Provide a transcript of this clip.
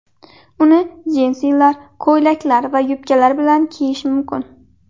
Uni jinsilar, ko‘ylaklar va yubkalar bilan kiyish mumkin.